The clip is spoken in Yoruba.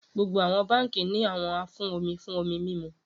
Gbogbo banki ni awọn afun omi fun omi mimu